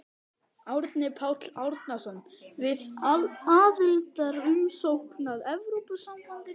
Árni Páll Árnason: Við aðildarumsókn að Evrópusambandinu?